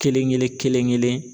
Kelen kelen kelen kelen.